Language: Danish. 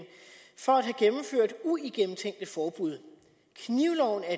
for at have gennemført uigennemtænkte forbud knivloven er